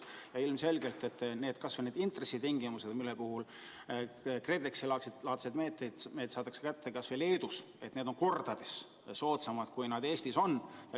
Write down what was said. Ja ilmselgelt kas või intressitingimused, millega KredExi-laadseid meetmeid saadakse kätte kas või Leedus, on kordades soodsamad kui Eestis.